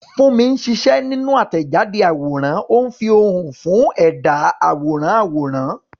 Funmi ń ṣiṣẹ́ nínú àtẹ̀jáde àwòrán, ó ń fi ohùn fún ẹ̀dá àwòrán àwòrán.